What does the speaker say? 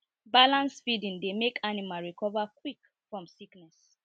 balanced feeding dey make anmal recover quick from sickness